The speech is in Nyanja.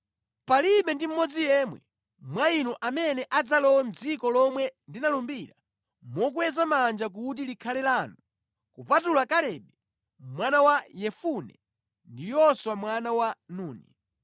Palibe ndi mmodzi yemwe mwa inu amene adzalowe mʼdziko lomwe ndinalumbira mokweza manja kuti likhale lanu, kupatula Kalebe mwana wa Yefune ndi Yoswa mwana wa Nuni.